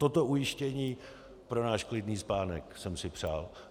Toto ujištění pro náš klidný spánek jsem si přál.